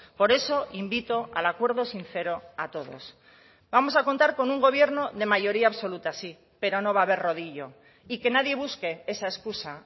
por eso invito al acuerdo sincero a todos vamos a contar con un gobierno de mayoría absoluta sí pero no va a haber rodillo y que nadie busque esa excusa